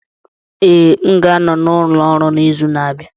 Ee, m ga-anọ n'ụlọ ọrụ n'izu na-abịa